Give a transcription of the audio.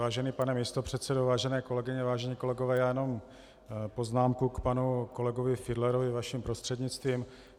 Vážený pane místopředsedo, vážené kolegyně, vážení kolegové, já jenom poznámku k panu kolegovi Fiedlerovi vaším prostřednictvím.